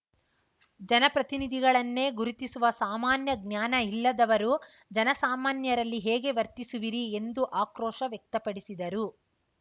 ಜನಪ್ರತಿನಿಧಿಗಳನ್ನೇ ಗುರಿತಿಸುವ ಸಾಮಾನ್ಯ ಜ್ಞಾನ ಇಲ್ಲದವರು ಜನಸಾಮಾನ್ಯರಲ್ಲಿ ಹೇಗೆ ವರ್ತಿಸು ವಿರಿ ಎಂದು ಆಕ್ರೋಶ ವ್ಯಕ್ತಪಡಿಸಿದರು